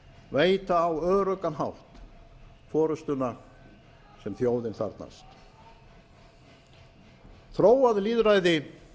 veita á öruggan hátt forustuna sem þjóðin þarfnast þróað lýðræði